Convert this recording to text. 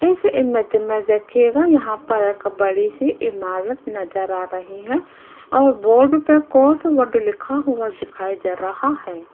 इस इमेज में देखिएगा यहां पर एक बड़ी सी इमारत नजर आ रही है और बोर्ड पे कोस वर्ड लिखा हुआ दिखाई दे रहा है।